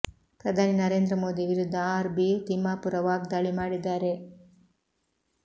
ಪ್ರಧಾನಿ ನರೇಂದ್ರ ಮೋದಿ ವಿರುದ್ಧ R B Timmapur ವಾಗ್ದಾಳಿ ಮಾಡಿದ್ದಾರೆ